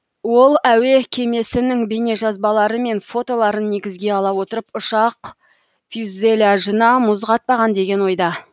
ол әуе кемесінің бейнежазбалары мен фотоларын негізге ала отырып ұшақ фюззеляжына мұз қатпаған деген ойда